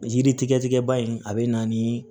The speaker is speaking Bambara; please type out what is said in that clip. Yiri tigɛ tigɛba in a bɛ na ni